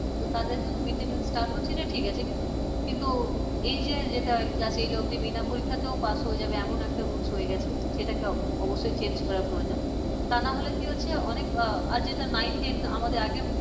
তো তাদের জন্য mid day meal হচ্ছে তো ঠিক আছে কিন্তু এই যে যেটা class এইট অবদি বিনা পরীক্ষাতেও pass হয়ে যাবে এমন একটা rules হয়ে গেছে সেটাকে অবশ্যই change করা প্রয়োজন তা না হলে কি হচ্ছে অনেক আর যেটা nine ten আমাদের আগে